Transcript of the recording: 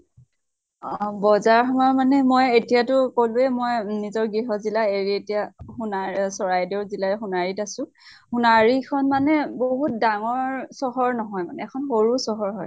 অহ বজাৰ সমাৰ মানে মই এতিয়া টো কলোয়ে মই নিজৰ গৃহ জিলা এৰি এতিয়া চোনাইৰ চৰাইদেউ জিলাৰ সোনাৰীত আছো। সোনাৰী খন মানে বহুত ডাঙৰ চহৰ নহয় মানে। এখন সৰু চহৰ হয়।